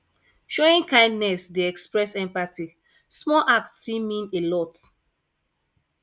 showing kindness dey express empathy small act fit mean a lot